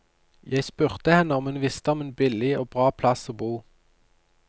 Jeg spurte henne om hun visste om en billig og bra plass å bo.